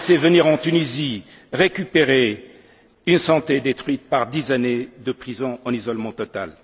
et de le laisser venir en Tunisie récupérer une santé détruite par dix années de prison en isolement